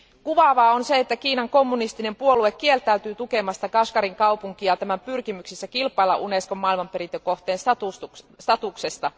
Kuvaavaa on se, että Kiinan kommunistinen puolue kieltäytyy tukemasta Kashgarin kaupunkia tämän pyrkimyksissä kilpailla Unescon maailmanperintökohteen statuksesta.